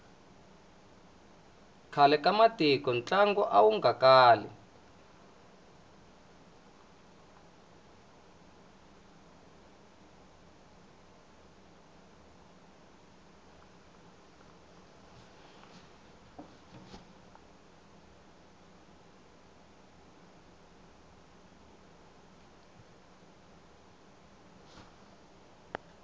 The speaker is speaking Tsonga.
khale ka matiko ntlangu awu nga kali